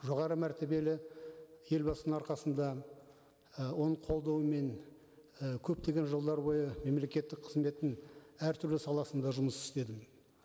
жоғары мәртебелі елбасының арқасында ы оның қолдауымен ы көптеген жылдар бойы мемлекеттік қызметтің әртүрлі саласында жұмыс істедім